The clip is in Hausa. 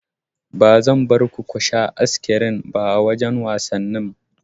Ba zan barku kusha As-kirin ba a wajan wasannin